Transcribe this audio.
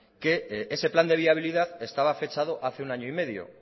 que ese plan de viabilidad estaba fechado hace un año y medio